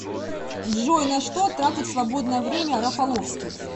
джой на что тратит свободное время рафаловский